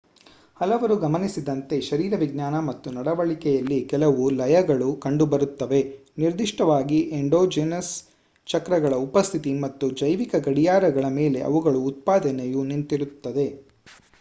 ಹಲವರು ಗಮನಿಸಿದಂತೆ ಶರೀರವಿಜ್ಞಾನ ಮತ್ತು ನಡವಳಿಕೆಯಲ್ಲಿ ಕೆಲವು ಲಯಗಳು ಕಂಡುಬರುತ್ತವೆ ನಿರ್ದಿಷ್ಟವಾಗಿ ಎಂಡೋಜಿನಸ್ ಚಕ್ರಗಳ ಉಪಸ್ಥಿತಿ ಮತ್ತು ಜೈವಿಕ ಗಡಿಯಾರಗಳ ಮೇಲೆ ಇವುಗಳ ಉತ್ಪಾದನೆಯು ನಿಂತಿರುತ್ತದೆ